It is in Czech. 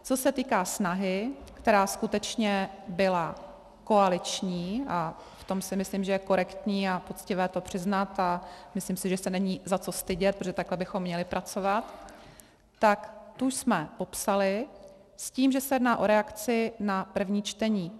Co se týká snahy, která skutečně byla koaliční, a v tom si myslím, že je korektní a poctivé to přiznat, a myslím si, že se není za co stydět, protože takhle bychom měli pracovat, tak tu jsme popsali s tím, že se jedná o reakci na první čtení.